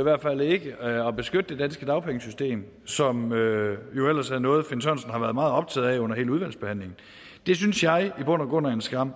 i hvert fald ikke ønskede at beskytte det danske dagpengesystem som jo ellers er noget finn sørensen har været meget optaget af under hele udvalgsbehandlingen det synes jeg i bund og grund er en skam